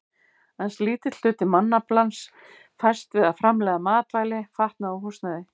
Aðeins lítill hluti mannaflans fæst við að framleiða matvæli, fatnað og húsnæði.